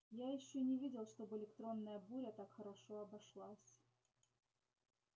я ещё не видел чтобы электронная буря так хорошо обошлась